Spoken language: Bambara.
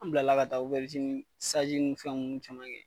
An bilala ka taa ni fɛn nunnu caman kɛ.